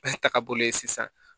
Bɛɛ ta ka boli sisan